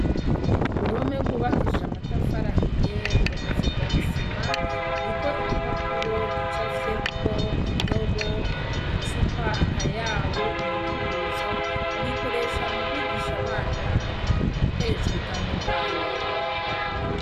Uruhome rwubakishijwe amatafari ahiye, rugakazirwa n'isima, ruriko igipapuro gicafyeko indobo, icupa, akayabu, umukubuzo. Bagikoresha mu kwigisha abana ibikoresho bitandukanye.